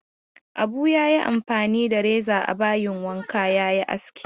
Abu ya yi amfani da reza a bayin wanka ya yi aski.